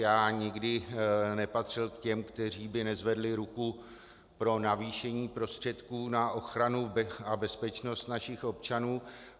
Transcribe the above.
Já nikdy nepatřil k těm, kteří by nezvedli ruku pro navýšení prostředků na ochranu a bezpečnost našich občanů.